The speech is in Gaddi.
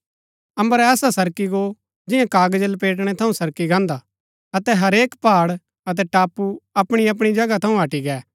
अम्बर ऐसा सरकी गो जियां कागज लपेटणै थऊँ सरकी गाहन्‍दा अतै हरेक पहाड़ अतै टापू अपणी अपणी जगह थऊँ हटी गै